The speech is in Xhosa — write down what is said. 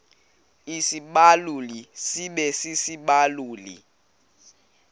isibaluli sibe sisibaluli